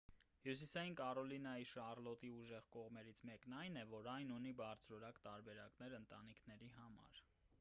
հյուսիսային կարոլինայի շարլոտի ուժեղ կողմերից մեկն այն է որ այն ունի բարձրորակ տարբերակներ ընտանիքների համար